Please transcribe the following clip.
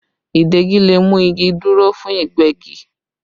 Ìdegi le mú igi dúró fún Ìgbẹ́gi